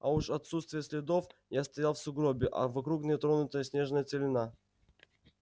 а уж отсутствие следов я стоял в сугробе а вокруг нетронутая снежная целина